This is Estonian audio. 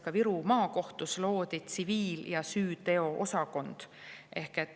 Ka Viru Maakohtus loodi tsiviil- ja süüteoosakond.